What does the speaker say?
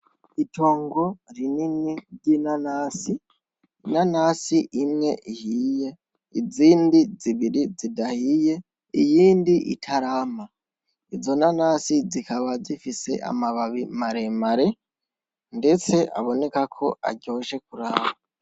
Itongo rinini ry'inanasi, inanasi imwe ihiye, izindi zibiri zidahiye, iyindi itarama, izo nanasi zikaba zifise amababi maremare ndetse abonekako aryoshe kuraba.